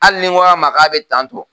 Hali ni n ko a ma k'a bɛ tantɔ